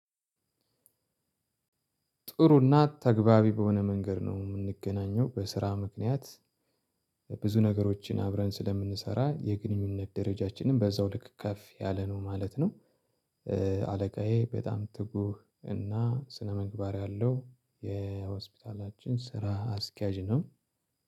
ጥሩና ተገባቢ በሆነ መንገድ ነው የምንገናኘው በስራ ምክንያት ብዙ ነገሮችን አብረን ስለምንሰራ የግንኙነት ደረጃችንም በዛው ልክ ከፍ ያለ ነው ማለት ነው። አለቃዬ በጣም ትጉህ እና ስነምግባር ያለው የሆስፒታላችን ስራ አስኪያጅ ነው።